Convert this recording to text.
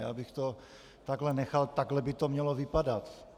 Já bych to takhle nechal, takhle by to mělo vypadat.